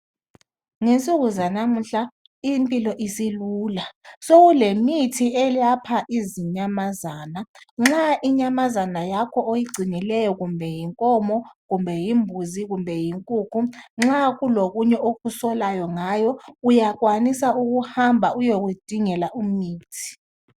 Ngensuku zalamuhla impilo isilula sekulemithi elapha izinyamazana nxa inyamazana yakho oyingcinaileyo kumbe yinkomo kumbe yimbuzi kumbe yinkukhu nxa kulokunye okusolayo ngayo uyakwanisa ukuhamba uyekudingela imithi.